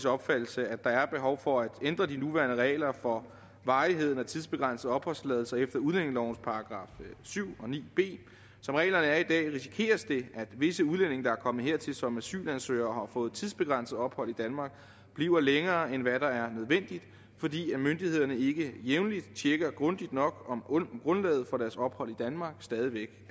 opfattelse at der er behov for at ændre de nuværende regler for varigheden af tidsbegrænsede opholdstilladelser efter udlændingelovens § syv og § ni b som reglerne er i dag risikeres det at visse udlændinge der er kommet hertil som asylansøgere og fået tidsbegrænset ophold i danmark bliver længere end hvad der er nødvendigt fordi myndighederne ikke jævnligt tjekker grundigt nok om grundlaget for deres ophold i danmark stadig væk